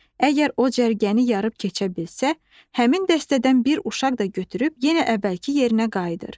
Əgər o cərgəni yarıb keçə bilsə, həmin dəstədən bir uşaq da götürüb yenə əvvəlki yerinə qayıdır.